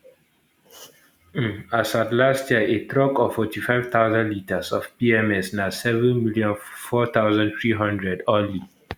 um as at last year a truck of 45000 litres of pms na 7 million 4300 only